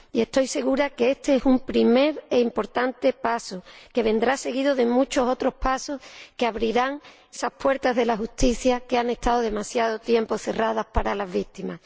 Y estoy segura de que este es un primer e importante paso, que vendrá seguido de muchos otros pasos que abrirán esas puertas de la justicia, que han estado demasiado tiempo cerradas para las víctimas.